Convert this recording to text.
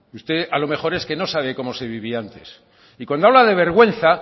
usted a lo mejor es que no sabe cómo se vivía antes y cuando habla de vergüenza